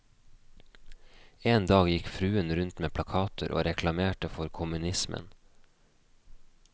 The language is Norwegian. En dag gikk fruen rundt med plakater og reklamerte for kommunismen.